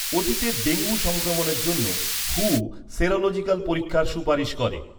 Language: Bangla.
অতীতের ডেঙ্গু সংক্রমণের জন্য হু সেরোলজিক্যাল পরীক্ষার সুপারিশ করে।